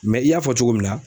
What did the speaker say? i y'a fɔ cogo min na.